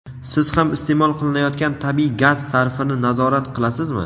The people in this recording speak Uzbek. Siz ham isteʼmol qilinayotgan tabiiy gaz sarfini nazorat qilasizmi?.